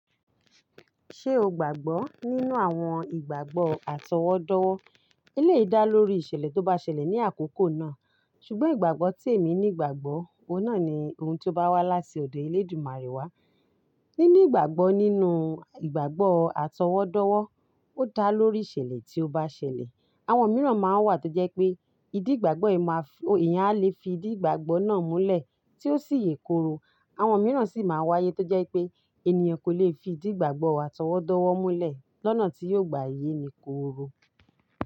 Ṣé o gbàgbọ́ nínú àwọn ìgbàgbọ́ atọwọ́dọ́wọ́? Eléyìí dá lórí ìṣẹ̀lẹ̀ tó bá ṣẹlẹ̀ ní àkókò náà. Ṣùgbọ́n ìgbàgbọ́ tí èmi ní ìgbàgbọ́, òun náà ni ohun tí ó bá wá láti ọ̀dọ̀ Elédùmarè wá Nínú ìgbàgbọ́ nínú ìgbàgbọ́ àtọwọ́dọ́wọ́, ó dá lórí ìṣẹ̀lẹ̀ tí ó bá ṣẹlẹ̀. Àwọn mìíràn máa ń wà tó jẹ́ pé ìdí ìgbàgbọ́ yìí máa fì, èèyàn á lè fi ìdí ìgbàgbọ́ náà múlẹ̀ tí ó sì yè kooro. Àwọn mìíràn sì máa wáyé tó jẹ́ pé ènìyàn kò lè fi ìdí ìgbàgbọ́ àtọwọ́dọ́wọ́ múlẹ̀ lọ́nà tí yóò gba yéni kooro.